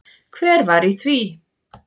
Hver var í því?